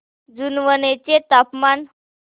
जुनवणे चे तापमान